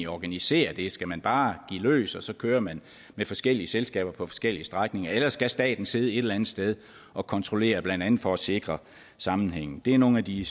organisere det skal man bare give los og så køre med med forskellige selskaber på forskellige strækninger eller skal staten sidde et eller andet sted og kontrollere blandt andet for at sikre sammenhængen det er nogle af de